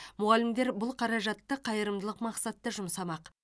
мұғалімдер бұл қаражатты қайырымдылық мақсатта жұмсамақ